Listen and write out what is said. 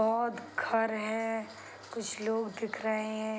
बहोत घर है कुछ लोग दिख रहे हैं।